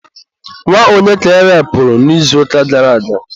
nwa onye ka erepuru n'izuụka gara aga?